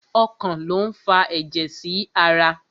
Ọkàn lo n fà ẹjẹ sí ará